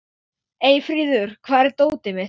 Eyfríður, hvar er dótið mitt?